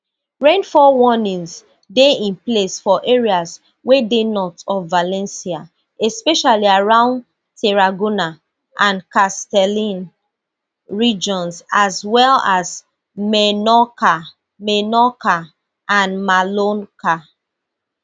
rainfall warnings dey in place for areas wey dey north of valencia especially around tarragona and castelln regions as well as menorca menorca and mallorca